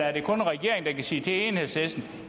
er det kun regeringen sige til enhedslisten